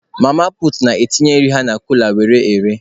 Mama puutu na-etinye nri ha na kula were ere.